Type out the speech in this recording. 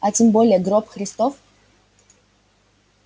а тем более гроб христов